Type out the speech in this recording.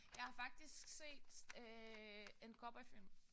Jeg har faktisk set øh en cowboyfilm